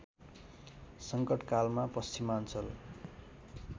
सङ्कटकालमा पश्चिमाञ्चल